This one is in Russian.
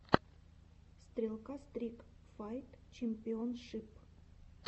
стрелка стрик файт чемпионшип